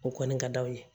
O kɔni ka d'aw ye